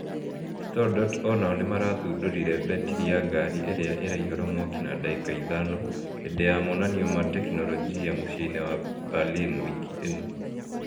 StoreDot onao nĩmarathundũrire mbetiri ya ngari ĩrĩa ĩraĩhũra mwaki na ndagĩka ĩthano hĩndĩ ya monanĩo ma tekinolojia mũciĩ-inĩ wa Berlin wĩkĩ ĩno